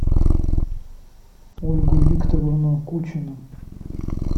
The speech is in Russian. ольгу викторовну кучину